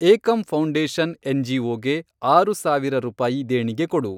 ಏಕಂ foundation ಎನ್.ಜಿ.ಒ.ಗೆ ಆರು ಸಾವಿರ ರೂಪಾಯಿ ದೇಣಿಗೆ ಕೊಡು.